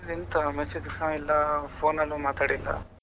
ಎಂತ message ಸಹ ಇಲ್ಲಾ phone ಅಲ್ಲು ಮಾತಾಡಿಲ್ಲಾ.